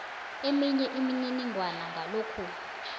eminye imininingwana ngalokhu